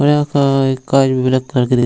और यहाँ car car --